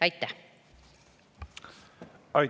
Aitäh!